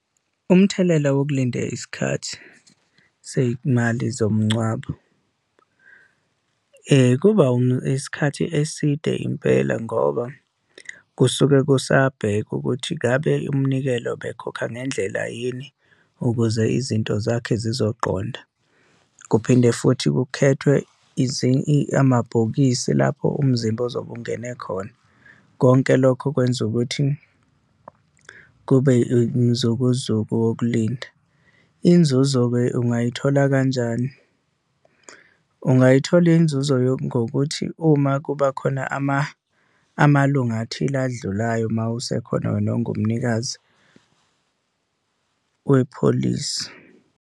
Umthelela wokulinda isikhathi sey'mali zomngcwabo, kuba isikhathi eside impela, ngoba kusuke kusabhekwa ukuthi ngabe umnikelo bekhokha ngendlela yini ukuze izinto zakhe zizoqonda. Kuphinde futhi kukhethwe amabhokisi lapho umzimba ozobe ungene khona, konke lokho kwenza ukuthi kube umzukuzuku wokulinda. Inzuzo-ke ungayithola kanjani yini? Ungayithola inzuzo ngokuthi uma kuba khona amalunga athile adlulayo uma usekhona wena, ongumnikazi wepholisi.